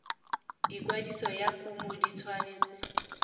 ikwadiso ya kumo di tshwanetse